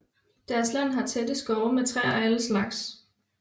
Deres land har tætte skove med træer af alle slags